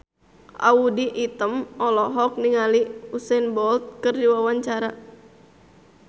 Audy Item olohok ningali Usain Bolt keur diwawancara